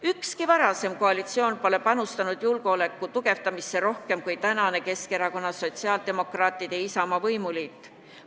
Ükski varasem koalitsioon pole panustanud julgeoleku tugevdamisse rohkem kui praegune Keskerakonna, Sotsiaaldemokraatide ja Isamaa võimuliit.